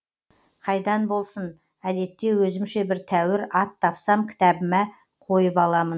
қайдан болсын әдетте өзімше бір тәуір ат тапсам кітабыма қойып аламын